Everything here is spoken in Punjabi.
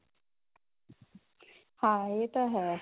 ਹਾਂ ਇਹ ਤਾਂ ਹੈ